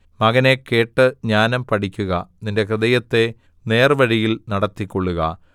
മകനേ കേട്ട് ജ്ഞാനം പഠിക്കുക നിന്റെ ഹൃദയത്തെ നേർവഴിയിൽ നടത്തിക്കൊള്ളുക